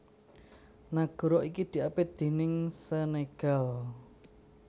Nagara iki diapit déning Senegal